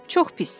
Çox pis.